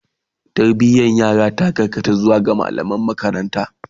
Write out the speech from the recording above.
Tarbiyan yara ta karkata zuwa ga mallaman makaranta